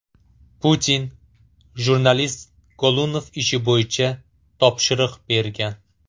Putin jurnalist Golunov ishi bo‘yicha topshiriq bergan.